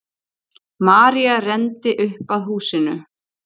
María renndi upp að húsinu.